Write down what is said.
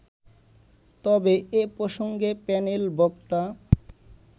তবে এ প্রসঙ্গে প্যানেল বক্তা